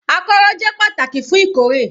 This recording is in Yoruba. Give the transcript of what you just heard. Akọ́rọ́ jẹ́ pàtàkì fún ìkórè